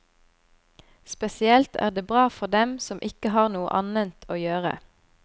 Spesielt er det bra for dem som ikke har noe annet å gjøre.